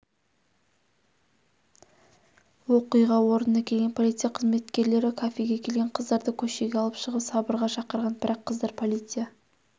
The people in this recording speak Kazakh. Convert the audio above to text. оқиға орнына келген полиция қызметкерлері кафеге келген қыздарды көшеге алып шығып сабырға шақырған бірақ қыздар полиция